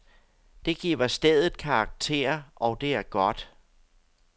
Det giver stedet karakter, og det er godt.